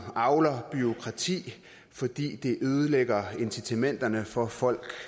avler bureaukrati fordi det ødelægger incitamenterne for folk